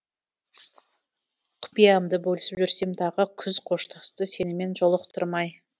құпиямды бөлісіп жүрсем дағы күз қоштасты сенімен жолықтырмай